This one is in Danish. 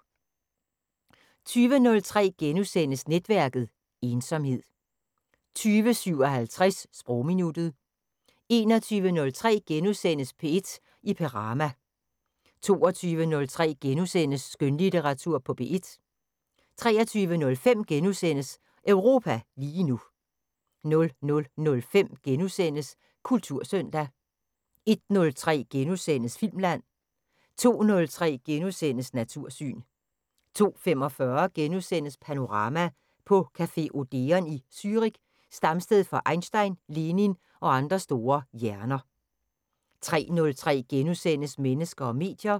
20:03: Netværket: Ensomhed * 20:57: Sprogminuttet 21:03: P1 i Perama * 22:03: Skønlitteratur på P1 * 23:05: Europa lige nu * 00:05: Kultursøndag * 01:03: Filmland * 02:03: Natursyn * 02:45: Panorama: På café Odeon i Zürich, stamsted for Einstein, Lenin og andre store hjerner * 03:03: Mennesker og medier *